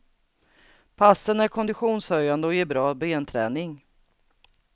Passen är konditionshöjande och ger bra benträning.